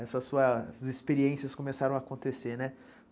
essas suas experiências começaram a acontecer, né?